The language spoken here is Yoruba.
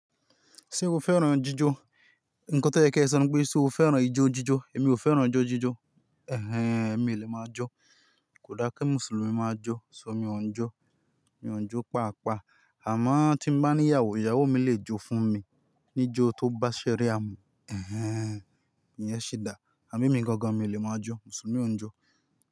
Ṣé o fẹ́ran jíjọ? Ǹkan tó yẹ kí ẹ sọ ni pé ṣé o fẹ́ran ijó jíjọ. Èmi ò fẹ́ran ijó jíjọ. Ẹ̀hẹ́n, èmi o lè máa jọ́. Kò dára kí Mùsùlùmí máa jọ́. Ṣọ mí ò ń jọ́, mi ò ń jó pàápàá. Àmọ́ tí mo bá ní ìyàwó, ìyàwó mi lè jó fún mi, ní ijó tó bá ṣẹ́ríà mu. Ẹ̀hẹ́n, ìyẹn sì dà. Àbí mi gan-an mi lè máa jọ́ Mùsùlùmí ò ń jó.